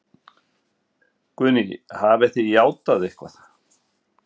Guðný: Hafið þið játað eitthvað?